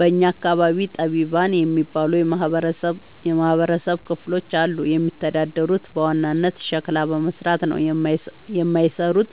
በእኛ አካባቢ ጠቢባን የሚባሉ የማህበረሰብ ክፍሎች አሉ። የሚተዳደሩት በዋናነት ሸክላ በመስራት ነው። የማይሰሩት